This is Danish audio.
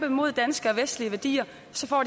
imod danske og vestlige værdier